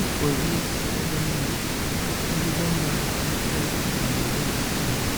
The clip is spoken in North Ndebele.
Ibhokisi lomuthi elilombala omhlophe kanye lolithanga,